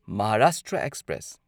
Maharashtra express